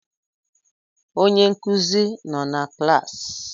Onye nkuzi nọ na klaasị?